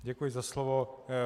Děkuji za slovo.